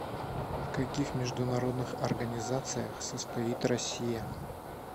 в каких международных организациях состоит россия